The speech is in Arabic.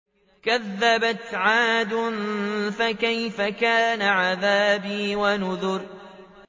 كَذَّبَتْ عَادٌ فَكَيْفَ كَانَ عَذَابِي وَنُذُرِ